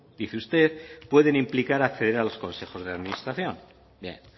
dice usted pueden implicar a los consejos de la administración bien